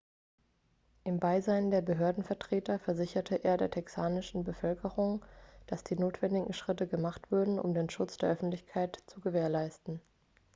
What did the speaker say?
im beisein der behördenvertreter versicherte er der texanischen bevölkerung dass die notwendigen schritte gemacht würden um den schutz der öffentlichkeit zu gewährleisten